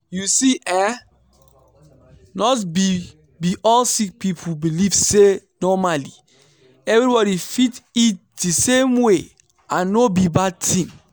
you see eh not be be all sick people believe say normally everybody fit eat di same way and no be bad tin.